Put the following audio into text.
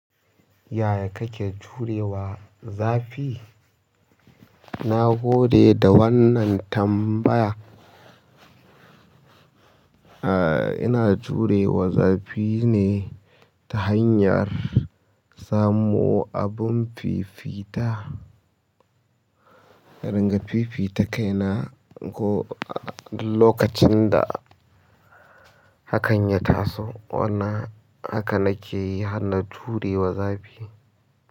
Yaya kake jurewa zafi? Na gode da wannan tambaya. Aaa, ina jurewa zafi ne ta hanyar samo abun fifita. Ringa fifita kaina ko duk lokacin da hakan ya taso. Wannan haka nake yi har na jurewa zafi.